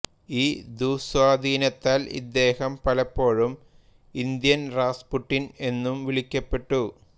ഈ ദുസ്വാധീനത്താൽ ഇദ്ദേഹം പലപ്പോഴും ഇന്ത്യൻ റാസ്പുട്ടിൻ എന്നും വിളിക്കപ്പെട്ടു